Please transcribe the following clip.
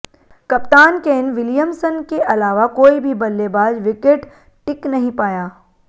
कप्तान Ken Williamson के अलावा कोई भी बल्लेबाज विकेट टिक नहीं पाया